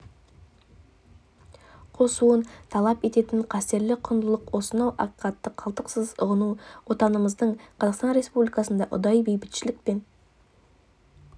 қосуын талап ететін қастерлі құндылық осынау ақиқатты қалтқысыз ұғыну отанымыз қазақстан республикасында ұдайы бейбітшілік пен